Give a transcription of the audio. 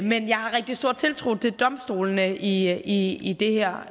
men jeg har rigtig stor tiltro til domstolene i i det her